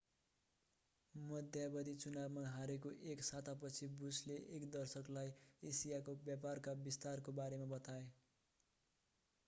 मध्यावधि चुनावमा हारेको एक सातापछि बुसले एक दर्शकलाई एसियाको व्यापारका विस्तारको बारेमा बताए